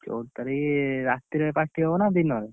ଚଉଦ ତାରିଖ, ରାତିରେ କାଟିବ ନା ଦିନରେ?